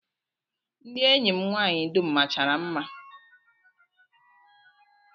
Ndị enyi m nwaanyị dum machara mma